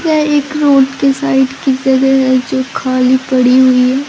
यह एक रोड के साइड की जगह है जो खाली पड़ी हुई है।